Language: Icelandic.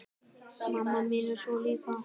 Mamma mín er svona líka.